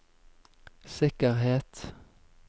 sikkerhet